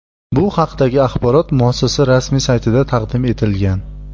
Bu haqdagi axborot muassasa rasmiy saytida taqdim etilgan .